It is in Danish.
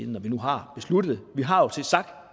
når vi nu har besluttet